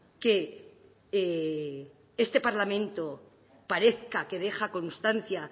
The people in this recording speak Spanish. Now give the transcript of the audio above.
que este parlamento parezca que deja constancia